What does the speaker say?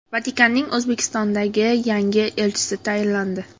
Vatikanning O‘zbekistondagi yangi elchisi tayinlandi.